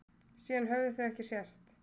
Síðan höfðu þau ekki sést.